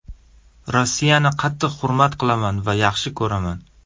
Rossiyani qattiq hurmat qilaman va yaxshi ko‘raman.